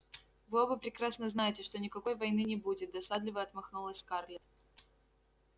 вы оба прекрасно знаете что никакой войны не будет досадливо отмахнулась скарлетт